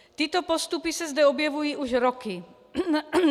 Tyto postupy se zde objevují už roky.